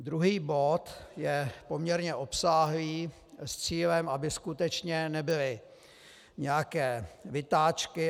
Druhý bod je poměrně obsáhlý s cílem, aby skutečně nebyly nějaké vytáčky.